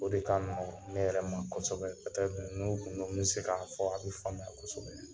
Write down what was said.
O de k'a nɔgɔn ne yɛrɛ ma kosɛbɛ n'u kun don, n mɛ se k'a fɔ, a bi faamuya kosɛbɛ.